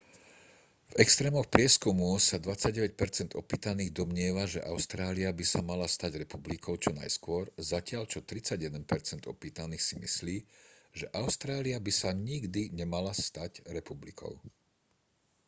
v extrémoch prieskumu sa 29 percent opýtaných domnieva že austrália by sa mala stať republikou čo najskôr zatiaľ čo 31 percent opýtaných si myslí že austrália by sa nikdy nemala stať republikou